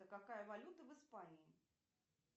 какая валюта в испании